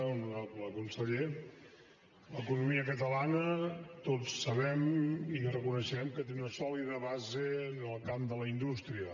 honorable conseller l’economia catalana tots sabem i reconeixem que té una sòlida base en el camp de la indústria